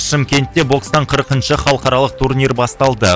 шымкентте бокстан қырқыншы халықаралық турнир басталды